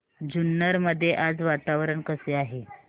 जुन्नर मध्ये आज वातावरण कसे आहे